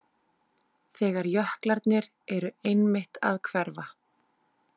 Þegar jöklarnir eru einmitt að hverfa.